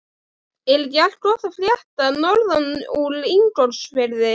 Er ekki allt gott að frétta norðan úr Ingólfsfirði?